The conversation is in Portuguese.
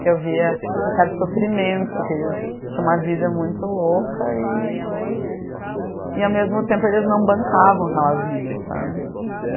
Que eu via um certo sofrimento, que eles tinham uma vida muito louca e e ao mesmo tempo eles não bancavam aquela vida, sabe?